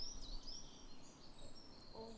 অহ